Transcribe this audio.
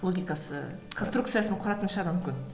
логикасы конструкциясын құратын шығар мүмкін